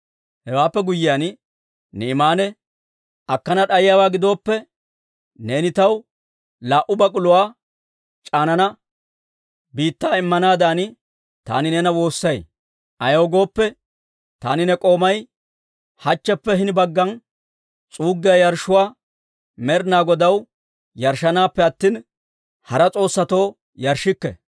Hewaappe guyyiyaan Ni'imaane, «Akkana d'ayiyaawaa gidooppe, neeni taw laa"u bak'uluwaa c'aanaa biittaa immanaadan taani neena woossay. Ayaw gooppe, taani ne k'oomay hachcheppe hini baggan s'uuggiyaa yarshshuwaa Med'ina Godaw yarshshanaappe attina, hara s'oossatoo yarshshikke.